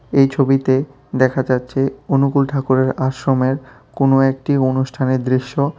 এই ছবিতে দেখা যাচ্ছে অনুকুল ঠাকুরের আশ্রমের কোন একটি অনুষ্ঠানের দৃশ্য।